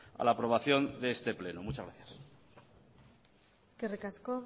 a la aprobación de este pleno muchas gracias eskerrik asko